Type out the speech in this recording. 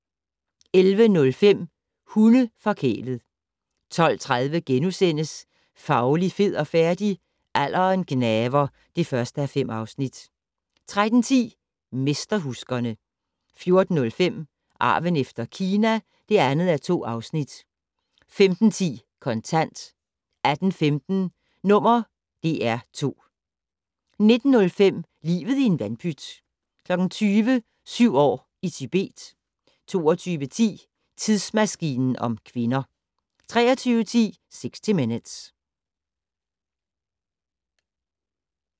11:05: Hunde-forkælet 12:30: Fauli, fed og færdig? - Alderen gnaver (1:5)* 13:10: Mesterhuskerne 14:05: Arven efter Kina (2:2) 15:10: Kontant 18:15: #DR2 19:05: Livet i en vandpyt 20:00: Syv år i Tibet 22:10: Tidsmaskinen om kvinder 23:10: 60 Minutes